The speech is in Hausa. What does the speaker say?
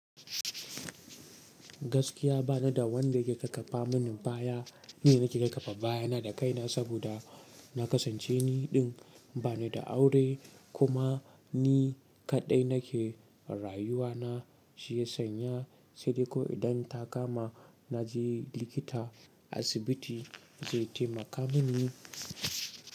Gaskiya ba ni da wanda ke kafafa mini baya. Ni nake kaƙapa baya na da kaina saboda na kasance niɗin ba ni da aure kuma ni kaɗai nake rayuwa na. Shi ya sanya sai dai ko idan ta kama na je likita, asibiti zai taimaka mini.